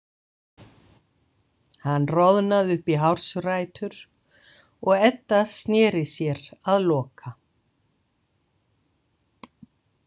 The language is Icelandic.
Hann roðnaði upp í hársrætur og Edda sneri sér að Loka.